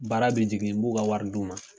Baara bi jigin n b'u ka wari d'u ma.